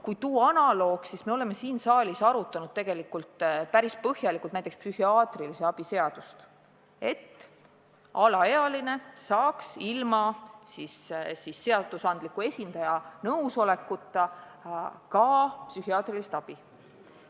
Kui tuua analoog, siis me oleme siin saalis arutanud päris põhjalikult näiteks psühhiaatrilise abi seadust, et alaealine saaks ilma seadusandliku esindaja nõusolekuta psühhiaatrilist abi.